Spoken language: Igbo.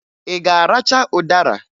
Ị ga-aracha ụdara?